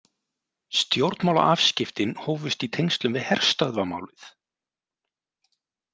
Stjórnmálaafskiptin hófust í tengslum við herstöðvamálið.